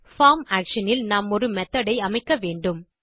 form action இல் நாம் ஒரு மெத்தோட் ஐ அமைக்க வேண்டும்